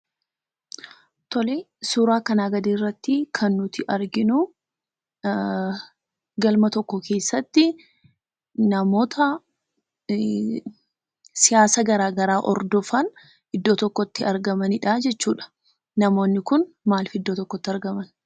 Tolee, suuraa kanaa gadii irrattii kan nuti arginuu galma tokko keessatti namoota siyaasa garaa garaa hordofan iddoo tokkotti argamanidhaa jechuudha. Namoonni kun maalif iddoo tokkotti argaman?